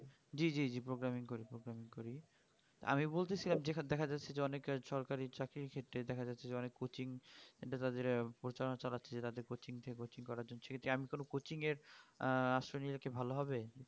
জি জি জি programming করি programming করি আমি বুলতে ছিলাম যেকানে দেখা যাচ্ছে যে অনেক সরকারি চাকরি ক্ষেত্রে দেখা যাচ্ছে অনেক coaching প্রচার চালাচ্ছে রাজ্যে coaching কে coaching করার জন্য সে কি আমি কোনো coaching এর আহ আশ্রয় নিও কি ভালো হবে